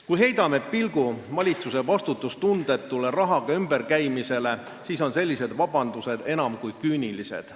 Kui me heidame pilgu valitsuse vastutustundetule rahaga ümberkäimisele, siis tunduvad sellised vabandused enam kui küünilised.